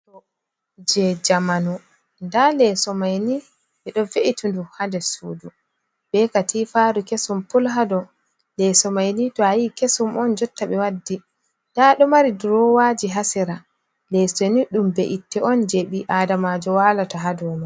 Leso jamanu. Nda leeso maini ɓe ɗo ve’iti ndu ha nder sudu be katifaru kesum pul hado leeso mayni to a yii kesum on jotta ɓe waddi nda ɗo mari durowaji ha sera. Leso ni dum be'itte on je ɓi aadamajo walata ha dow mai.